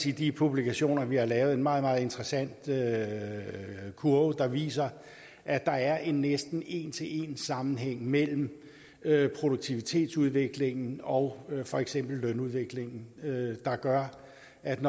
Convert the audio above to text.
i de publikationer vi har lavet findes en meget meget interessant kurve kurve der viser at der er en næsten en til en sammenhæng mellem produktivitetsudviklingen og for eksempel lønudviklingen der gør at når